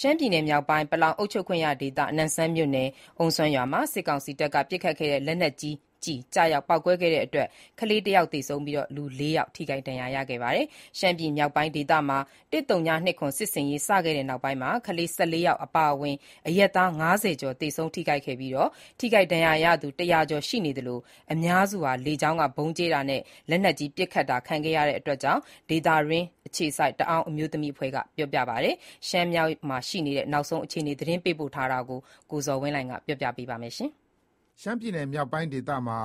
ရှမ်းပြည်နယ်မြောက်ပိုင်း ပလောင်ကိုယ်ပိုင်အုပ်ချုပ်ခွင့်ရဒေသ နမ့်ဆန်မြို့နယ် အုမ်းစွမ်ရွာမှာ စစ်ကောင်စီတပ်က ပစ်ခတ်တဲ့ လက်နက်ကြီးကျည် ကျရောက်ပေါက်ကွဲတာကြောင့် ကလေးတယောက် သေဆုံးပြီး လူ ၄ ယောက်ထိခိုက်ဒဏ်ရာရခဲ့ပါတယ်။ ရှမ်းပြည်နယ်မြောက်ပိုင်းဒေသမှာ ၁၀၂၇ စစ်ဆင်ရေး စခဲ့တဲ့နောက် ကလေး ၁၄ ယောက် အပါအဝင် အရပ်သား ၅၀ ကျော် သေဆုံးပြီး ထိခိုက်ဒဏ်ရာရသူ ၁၀၀ ကျော်ရှိနေသလို အများစုဟာ လေကြောင်းက ဗုံးကြဲတာနဲ့ လက်နက်ကြီး ပစ်ခတ်တာခံခဲ့ရကြောင်း ဒေသတွင်းအခြေစိုက် တအာင်းအမျိုးသမီးအဖွဲ့က ပြောပါတယ်။ ရှမ်းမြောက် နောက်ဆုံးအခြေအနေတွေအကြောင်း ရန်ကုန်ကပေးပို့တဲ့သတင်းကို အခြေခံပြီး ကိုဇော်ဝင်းလှိုင်က တင်ပြပေးမှာပါ။ ရှမ်းပြည်နယ် မြောက်ပိုင်းဒေသမှာ